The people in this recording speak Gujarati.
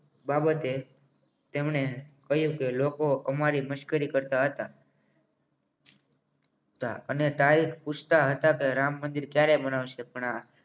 બાબતે તેમણે લોકો અમારી મશ્કરી કરતા હતા અને તારીખ પછી તે હતા કે રામ મંદિર ક્યારે બનાવશે પણ આ